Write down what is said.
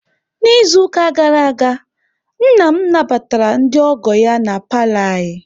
N'izuụka gara aga, nna m nabatara ndị ọgọ ya na paalọ anyị.